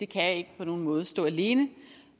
kan ikke på nogen måde stå alene